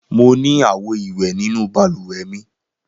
Mo ní àwo-ìwẹ̀ nínú balùwẹ̀ mi.